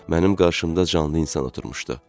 Mənim qarşımda canlı insan oturmuşdu.